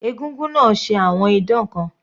Egúngún náà ṣe àwọn idán kan.